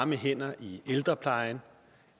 vi kender